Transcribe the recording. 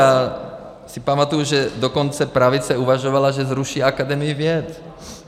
Já si pamatuji, že dokonce pravice uvažovala, že zruší Akademii věd.